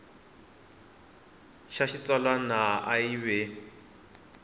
xa xitsalwana a yi ve